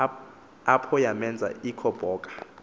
apho yamenz ikhoboka